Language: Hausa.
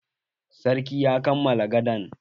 Sarkin ya kammala gadan.